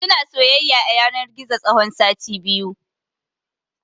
Suna soyayya a yanar gizo tsawon sati biyu.